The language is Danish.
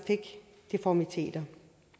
deformiteter